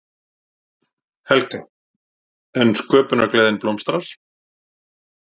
Helga: En sköpunargleðin blómstrar?